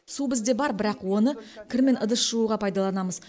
су бізде бар бірақ оны кір мен ыдыс жууға пайдаланамыз